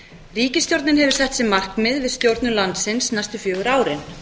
ríkisstjórnin hefur sett sér markmið við stjórnun landsins næstu fjögur árin